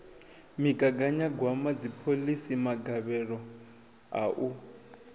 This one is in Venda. migaganyagwama dziphoḽisi magavhelo a u